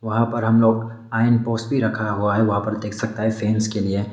वहां पर हम लोग लाइन पोस रखा हुआ है वहां पर देख सकता है फेंस के लिए।